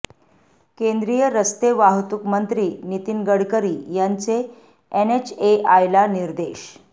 केंद्रीय रस्ते वाहतूक मंत्री नितीन गडकरी यांचे एनएचएआयला निर्देश